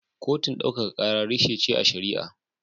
Kotun daukaka kara reshe ce a shari'a.